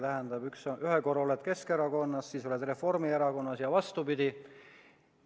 Tähendab, ühe korra oled Keskerakonnas, siis oled Reformierakonnas, ja vastupidi.